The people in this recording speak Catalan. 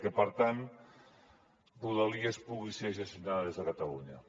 i que per tant rodalies pugui ser gestionada des de catalunya